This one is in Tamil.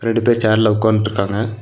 ரெண்டு பேரு சேர்ல உக்காந்துட்டு இருக்காங்க.